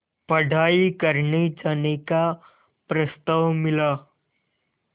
पढ़ाई करने जाने का प्रस्ताव मिला